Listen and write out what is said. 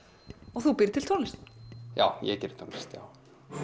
og þú býrð til tónlist já ég geri tónlist já